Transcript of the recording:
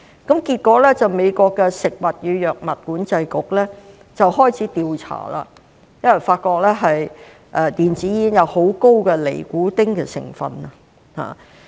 結果，美國的食品及藥物管理局開始調查，發覺電子煙含有很高的尼古丁成分。